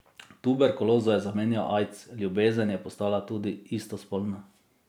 Tuberkulozo je zamenjal aids, ljubezen je postala tudi istospolna.